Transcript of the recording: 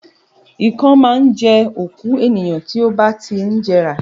Ìkan máa ń jẹ́ òkú ènìyàn tí ó bá ti ń jẹrà